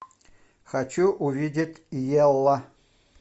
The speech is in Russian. хочу увидеть ялла